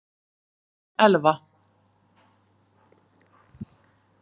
Þín Elfa.